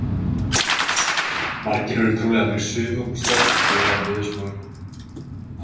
Margir eru trúlega að fara í sumarbústað enda lofar veðurspáin góðu.